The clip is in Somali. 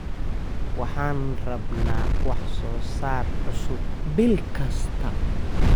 Waxaan rabnaa wax soo saar cusub bil kasta.